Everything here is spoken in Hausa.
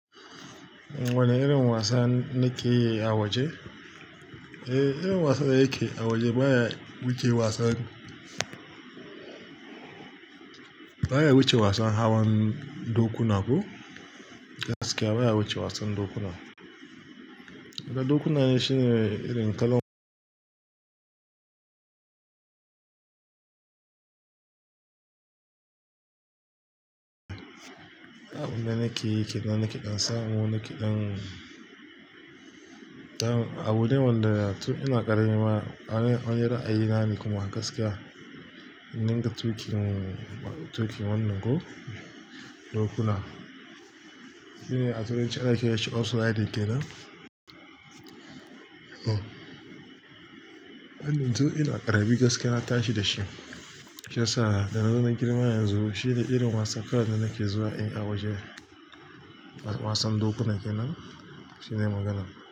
Wane irin wasa ne ke yi a waje? Eh, irin wasan da yake a waje baya wuce wasan, baya wuce wasan hawan dokuna ko. Gaskiya baya wuce wasan dokuna. Na dokuna ne shine irin kalan. Abin da nakeyi kenan, nake ɗan samu, nake ɗan. Abune wanda tun ina ƙarami ma, an yi ra'ayina ne kuma gaskiya ninka tuƙin, tuƙin wannan ko dokuna. Shine a turanci ana kiranshi horse riding kenan. Hannun tun ina ƙarami gaskiya na tashi da shi, shi yasa da na zo na girma yanzu shine irin wasan karan da nake zuwa in yi a waje. Wasan dokuna kenan shine magana.